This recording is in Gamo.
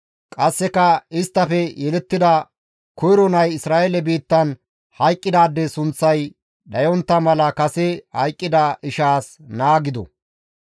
Qasseka isttafe yelettida koyro nay Isra7eele biittan hayqqidaade sunththay dhayontta mala kase hayqqida ishaas naa gido.